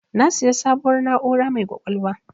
Na siya sabuwar na'ura mai ƙwaƙwalwa